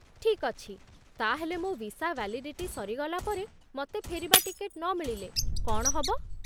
ଠିକ୍ ଅଛି, ତା'ହେଲେ ମୋ ଭିସା ଭ୍ୟାଲିଡିଟି ସରିଗଲା ପରେ ମତେ ଫେରିବା ଟିକେଟ୍ ନମିଳିଲେ କ'ଣ ହବ?